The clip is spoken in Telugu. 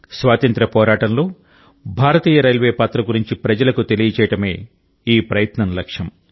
స్వాతంత్య్ర పోరాటంలో భారతీయ రైల్వే పాత్ర గురించి ప్రజలకు తెలియడమే ఈ ప్రయత్నం లక్ష్యం